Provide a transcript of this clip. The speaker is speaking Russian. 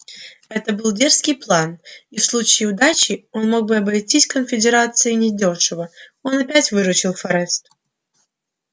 это был дерзкий план и в случае удачи он мог бы обойтись конфедерации недёшево но опять выручил форрест